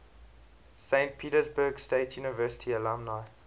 saint petersburg state university alumni